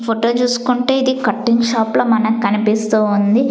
Photo చూసుకుంటే ఇది cutting shop లా మనకు కనిపిస్తూ ఉంది.